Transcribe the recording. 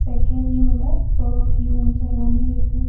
Second ரோல perfumes எல்லாமே இருக்கு.